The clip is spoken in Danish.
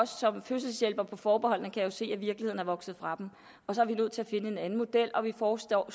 som fødselshjælpere for forbeholdene kan jo se at virkeligheden er vokset fra dem så vi er nødt til at finde en anden model og vi foreslår